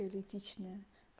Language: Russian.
эротичная